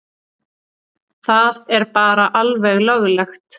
Það er bara alveg löglegt.